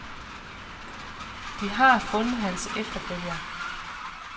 De har fundet hans efterfølger.